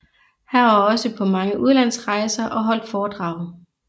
Han var også på mange udlandsrejser og holdt foredrag